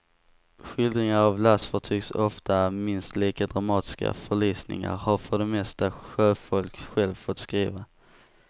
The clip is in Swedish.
Skildringar av lastfartygs ofta minst lika dramatiska förlisningar har för det mesta sjöfolk själva fått skriva.